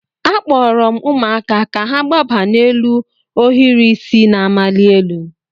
Akpọrọ m ụmụaka ka ha gbaba n'elu ohiri isi na-amali elu.